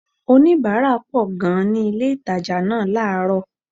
Oníbàárà pọ̀ gan-an ni ilé-ìtàjà náà láàrọ̀